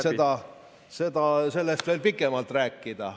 ... ja kes võib sellest veel pikemalt rääkida.